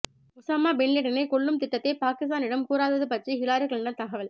Osama பின்லேடனை கொல்லும் திட்டத்தை பாகிஸ்தானிடம் கூறாதது பற்றி ஹிலாரி கிளிண்டன் தகவல்